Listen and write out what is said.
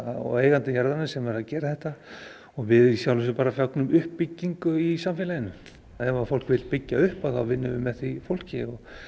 og eigandi jarðarinnar sem er að gera þetta og við í sjálfu sér bara fögnum uppbyggingu í samfélaginu ef fólk vill byggja upp þá vinnum við með því fólki